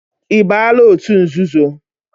Ị baala òtù nzuzo?